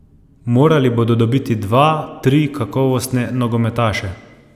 Morali bodo dobiti dva, tri kakovostne nogometaše.